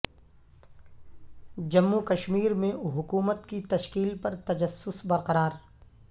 جموں و کشمیر میں حکومت کی تشکیل پر تجسس برقرار